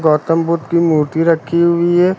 गौतम बुद्ध की मूर्ति रखी हुई है।